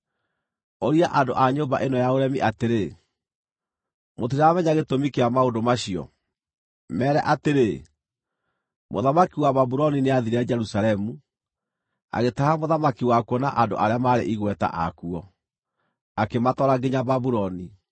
“Ũria andũ a nyũmba ĩno ya ũremi atĩrĩ, ‘Mũtiramenya gĩtũmi kĩa maũndũ macio?’ Meere atĩrĩ, ‘Mũthamaki wa Babuloni nĩathiire Jerusalemu, agĩtaha mũthamaki wakuo na andũ arĩa maarĩ igweta akuo, akĩmatwara nginya Babuloni.